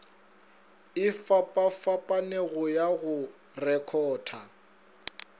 e fapafapanego ya go rekhota